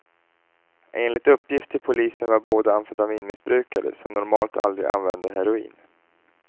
Enligt uppgift till polisen var båda amfetaminmissbrukare, som normalt aldrig använde heroin.